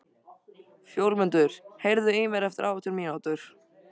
Fjólmundur, heyrðu í mér eftir átján mínútur.